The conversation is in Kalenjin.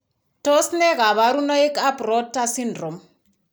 Tos nee kabarunaik ab Rotor syndrome ?